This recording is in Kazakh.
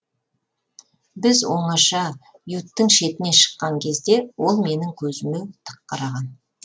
біз оңаша юттың шетіне шыққан кезде ол менің көзіме тік қараған